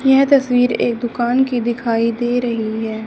यह तस्वीर एक दुकान की दिखाई दे रही है।